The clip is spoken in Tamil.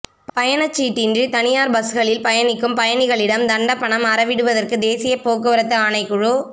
பயணச்சீட்டின்றி தனியார் பஸ்களில் பயணிக்கும் பயணிகளிடம் தண்டப்பணம் அறவிடுவதற்கு தேசிய போக்குவரத்து ஆணைக்குழு